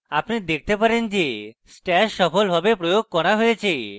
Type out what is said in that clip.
আপনি দেখতে পারেন যে stash সফলভাবে প্রয়োগ করা you